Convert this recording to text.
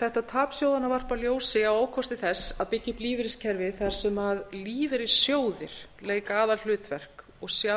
þetta tap sjóðanna varpar ljósi á ókosti þess að byggja upp lífeyriskerfi þar sem lífeyrissjóðir leika aðalhlutverk og sjá